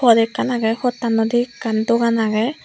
wall ekkan aagey potanow di ekkan dogan aagey.